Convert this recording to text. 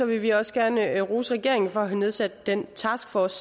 vi også gerne rose regeringen for at have nedsat den taskforce